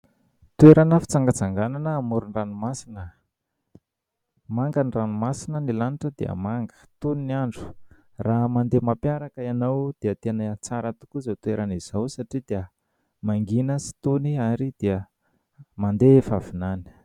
Toerana fitsangatsanganana amoron-dranomasina. Manga ny ranomasina, ny lanitra dia manga, tony ny andro. Raha mandeha mampiaraka ianao dia tena tsara tokoa izao toerana izao satria dia mangiana sy tony ary dia mandefa vinany.